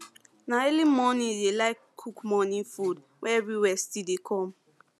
na early morning e dey like cook morning food wia everywhere still dey come